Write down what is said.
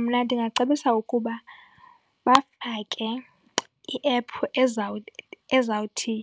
Mna ndingacebisa ukuba bafake i-app ezawuthi